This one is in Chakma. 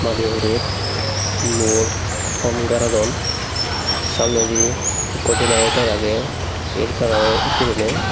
madi hurer luo thomb garadon samnedi ekko generator agey el kalaror guriney.